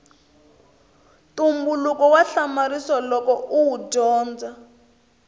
ntumbuluko wa hamarisa loko uwu dyondza